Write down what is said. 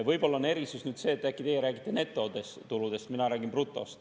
Võib-olla on erisus seetõttu, et teie räägite netotuludest, aga mina räägin brutost.